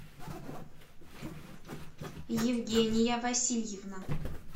евгения васильевна